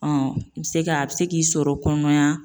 Ɔn i be se k'a a be se k'i sɔrɔ kɔnɔmaya